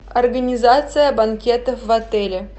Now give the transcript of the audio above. организация банкетов в отеле